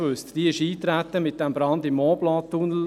Diese erfuhr man erst infolge des Brands im Mont-Blanc-Tunnel.